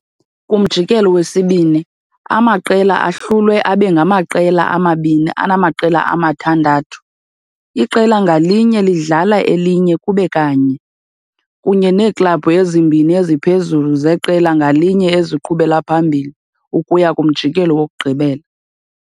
Kumjikelo wesibini, amaqela ahlulwe abe ngamaqela amabini anamaqela amathandathu, iqela ngalinye lidlala elinye kube kanye, kunye neeklabhu ezimbini eziphezulu zeqela ngalinye eziqhubela phambili ukuya kumjikelo wokugqibela.